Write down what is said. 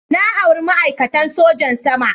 Na auri ma'aikatan sojan sama.